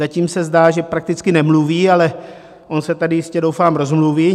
Zatím se zdá, že prakticky nemluví, ale on se tady jistě doufám rozmluví.